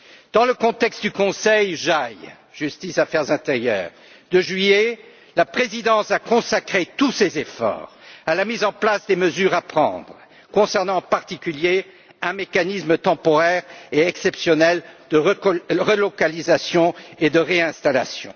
Dans le contexte du Conseil Justice et affaires intérieures de juillet, la présidence a consacré tous ses efforts à la mise en place des mesures concernant, en particulier, un mécanisme temporaire et exceptionnel de relocalisation et de réinstallation.